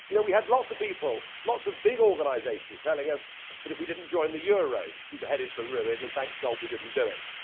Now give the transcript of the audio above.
We had lots of people, lots of big organisations telling us that if we did not join the euro we were headed for ruin, and thank God we didn't do it!